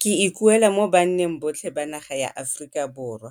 Ke ikuela mo banneng botlhe ba naga ya Aforika Borwa,